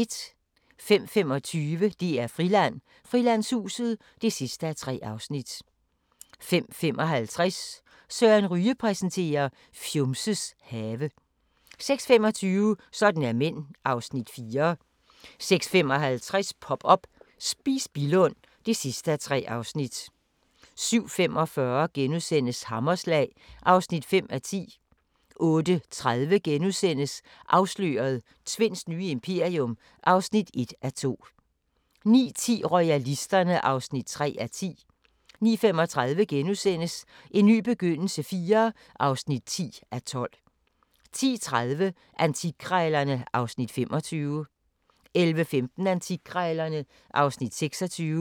05:25: DR-Friland: Frilandshuset (3:3) 05:55: Søren Ryge præsenterer: Fjumses have 06:25: Sådan er mænd (Afs. 4) 06:55: Pop up – Spis Billund (3:3) 07:45: Hammerslag (5:10)* 08:30: Afsløret – Tvinds nye imperium (1:2)* 09:10: Royalisterne (3:10) 09:35: En ny begyndelse IV (10:12)* 10:30: Antikkrejlerne (Afs. 25) 11:15: Antikkrejlerne (Afs. 26)